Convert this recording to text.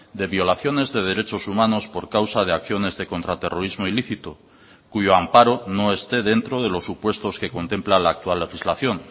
de violaciones de derechos humanos por causa de acciones de contraterrorismo ilícito cuyo amparo no esté dentro de los supuestos que contempla la actual legislación